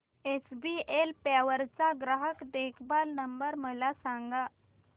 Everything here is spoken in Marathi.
एचबीएल पॉवर चा ग्राहक देखभाल नंबर मला सांगा